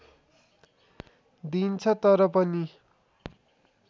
दिइन्छ तर पनि